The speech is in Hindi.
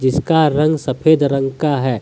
उसका रंग सफेद रंग का है।